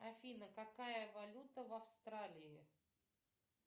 афина какая валюта в австралии